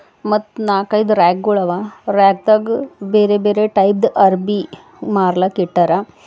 ಮತ್ ನಾಲ್ಕೈದು ರ್ಯಾಕ್ ಗೋಳು ಅವ ರ್ಯಾಕ್ ದಗ ಬೇರೆ ಬೇರೆ ಟೈಪ್ ಅರ್ಬೀ ಮಾರ್ಲಕಿಟರ.